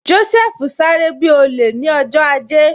Joseph sáré bi olè ni ọjọ́ ajé